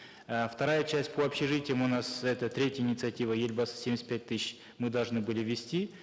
э вторая часть по общежитиям у нас это третья инициатива елбасы семьдесят пять тысяч мы должны были ввести